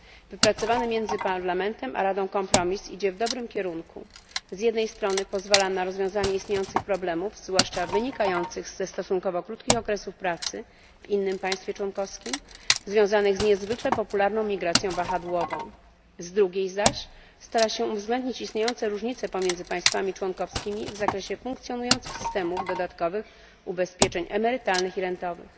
Wypracowany między Parlamentem a Radą kompromis idzie w dobrym kierunku z jednej strony pozwala na rozwiązanie istniejących problemów, zwłaszcza wynikających ze stosunkowo krótkich okresów pracy w innym państwie członkowskim, związanych z niezwykle popularną migracją wahadłową, z drugiej zaś stara się uwzględnić istniejące różnice pomiędzy państwami członkowskimi w zakresie funkcjonujących systemów dodatkowych ubezpieczeń emerytalnych i rentowych.